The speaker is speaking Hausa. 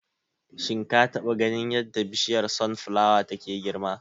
Shin ka taba ganin yadda Bishiyar Sun flawa take girma?